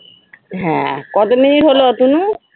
হ্যাঁ, কত মিনিট হলো অতুনু?